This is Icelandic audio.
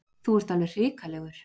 Þú ert alveg hrikalegur.